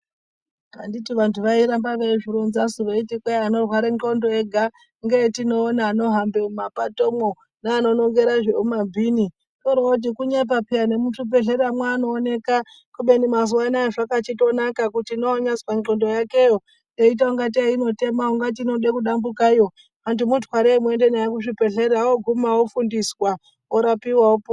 Anditi vantu vairambe veizvironzasu veiti kwai vanorware ndxondo ega ngeetinoona vanohambe muma patomwo, neano nongere zviro mumabhini, oro-oti kunyepa peya nemuzvi bhehleramwo anooneka, kubeni mazuwa ano zvakachitonaka kuti newanyazwa ndhlondo yakeyo eita kunga tei inotema, ungati inoda kudambukayo antu anoti mutwarei muende naye kuzvibhehlera o-oguma ofundiswa orapiwa opona.